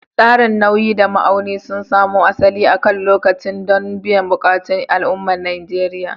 Tsarin nauyi da ma'auni sun samo asali akan lokaci don biyan buƙatun al'ummar Najeriya.